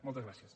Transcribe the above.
moltes gràcies